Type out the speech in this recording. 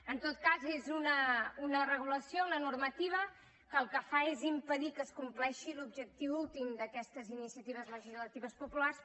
en tot cas és una regulació una normativa que el que fa és impedir que es compleixi l’objectiu últim d’aquestes iniciatives legislatives populars